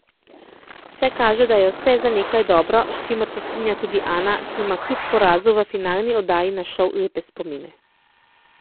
Vse kaže, da je vse za nekaj dobro, s čimer se strinja tudi Ana, ki ima kljub porazu v finalni oddaji na šov lepe spomine.